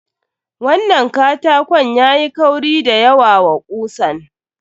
Wannan katakon yayi kauri da yawa wa kusan.